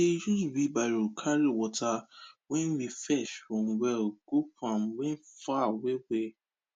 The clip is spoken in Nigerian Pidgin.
we dey use wheelbarrow carry water wen we fetch from well go farm wen far well well